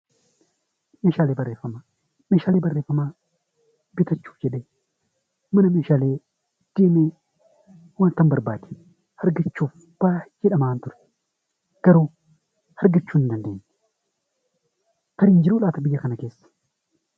Meeshaalee barreeffamaa. Meeshaalee barreeffamaa bitachuuf jedhee deemee wantan barbaade argachuuf baayyee dhama'aan ture. Garuu argachuu hin dandeenye. Tarii hin jiruu laata biyya kana keessa?